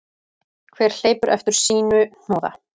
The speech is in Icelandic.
Hver hleypur eftir sínu hnoða.